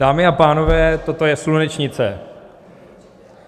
Dámy a pánové, toto je slunečnice.